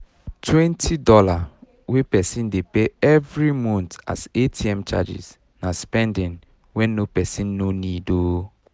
20 dollar wey person dey pay every month as atm charges na spending wen no person no need ooo